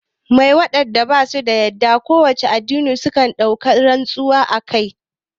Mai wanda basu da yadda a kowane addini suke ɗaukan rantsuwa akai?